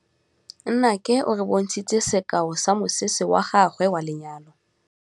Nnake o re bontshitse sekaô sa mosese wa gagwe wa lenyalo.